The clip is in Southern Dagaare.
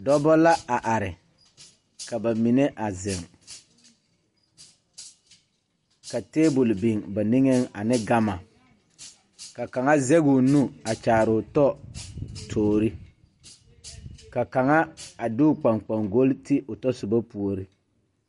Dɔbɔ la a are ka ba mine a zeŋ ka tabol biŋ ba niŋeŋ ane gama ka kaŋa zegoo nu a kyaaroo tɔ toore ka kaŋa a de o kpaŋkpane goli o tɔsobɔ puore